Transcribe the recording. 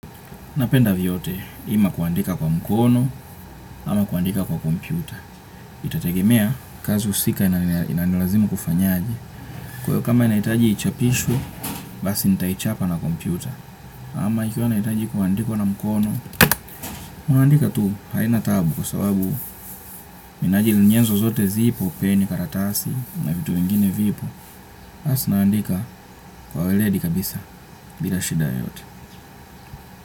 Napenda vyote, ima kuandika kwa mkono, ama kuandika kwa kompyuta. Itategemea, kazi husika inanilazimu kufanyaje. Kwa hivyo kama inahitaji ichapishwe, basi nitaichapa na kompyuta. Ama ikiwa inahitaji kuandikwa na mkono, unaandika tu haina tabu. Kwa sababu, minajili nyenzo zote zipo, pia ni karatasi, na vitu vingine vipo. Basi naandika kwa weledi kabisa, bila shida yoyote.